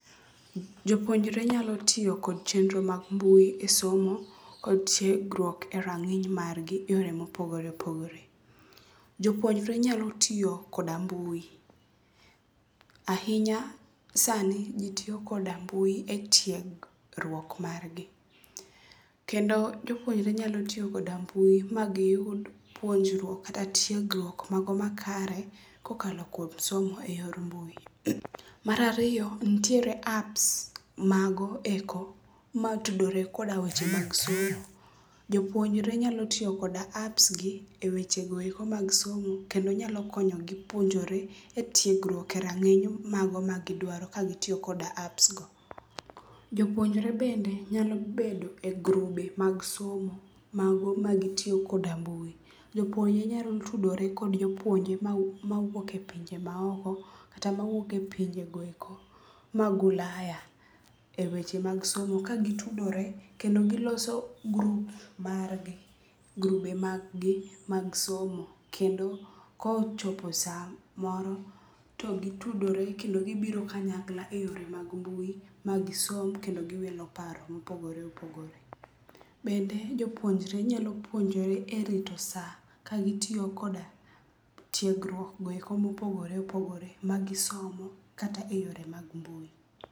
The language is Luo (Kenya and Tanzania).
Jopuonjre nyalo tiyo kod chenro mag mbui e somo kod tiegruok e rang'iny margi e yore mopogore opogore. Jopuonjre nyalo tiyo koda mbui ahinya sani, tiyo koda mbui e tiegruok margi. Kendo jopuonjre nyalo tiyo koda mbui magiyud puonjruok kata tiegruok mago makare kokalo kuom somo eyor mbui. Mar ariyo, nitiere apps mago eko matudore koda weche mag somo. Jopuonjre nyalo tiyo koda apps gi, ewechego eko mag somo kendo nyalo konyogi puonjore etiegruok e rang'iny mago magiduaro kagitiyo koda apps go. Jopuonjre bende nyalo bedo e grube mag somo mago magitiyo koda mbui. Jopuonj nyalo tudre kod jopunjre mawuok epinje maoko kata mawuok epinjego eko mag ulaya eweche mag somo kagitudore kendo giloso grup margi grube mag gi mag somo, kendo kochopo saa moro to gitudore kendo gibiro kanyakla eyore mag mbui magisom kendo giwilo paro mopogore opogore. Bende jopuonjre nyalo puonjore erito saa kagitiyo koda tiegruok goeko mopogore opogore magisomo kata eyore mag mbui.